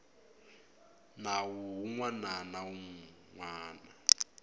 nawu wun wana na wun